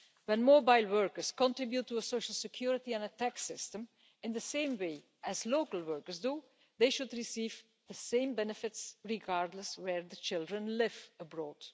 When mobile workers contribute to a social security and tax system in the same way as local workers do, they should receive the same benefits, regardless of where the children live abroad.